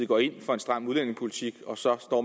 går ind for en stram udlændingepolitik og så står